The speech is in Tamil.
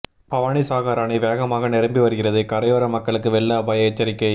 பவானிசாகா் அணை வேகமாக நிரம்பி வருகிறது கரையோர மக்களுக்கு வெள்ள அபாய எச்சரிக்கை